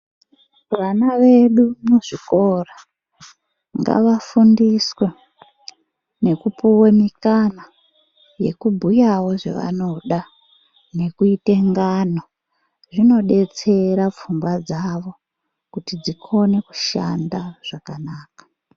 Vana vedu muzvikora ngavafundisee Nekupuwa mukana wekubhuyawo zvavanoda nekuita ngano zvinodetsera pfungwa dzawo kuti dzikone kushanda zvakanaka.